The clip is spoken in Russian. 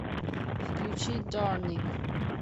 включи дорник